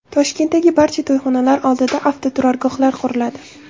Toshkentdagi barcha to‘yxonalar oldida avtoturargohlar quriladi.